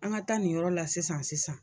An ka taa nin yɔrɔ la sisan sisan.